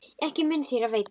Ekki mun þér af veita.